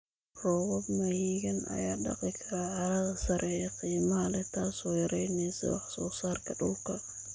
Roobab mahiigaan ah ayaa dhaqi kara carrada sare ee qiimaha leh, taasoo yareyneysa wax soo saarka dhulka.